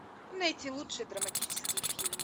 найти лучший драматический фильм